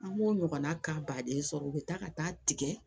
An b'o ɲɔgɔnna ka baden sɔrɔ u bɛ taa ka taa tigɛ